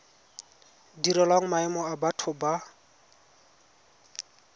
direlwang maemo a batho ba